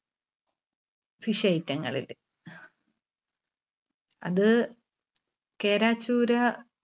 fish item ങ്ങളില്. അത് കേര, ചൂര